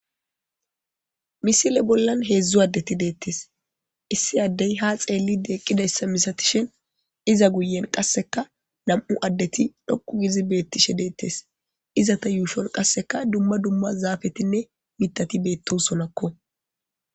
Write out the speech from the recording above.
Misile bollan heedzdzu addeti deettes issi addey ha xeelli deeqqidayssa misatishen iza guyen qasseka nam'u addeti dhoqu gizi beettishe deettes iza ta yuushon qasseka dumma dumma zaafetinne mitati beetto sonakko.